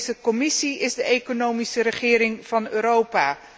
De Europese Commissie is de economische regering van Europa.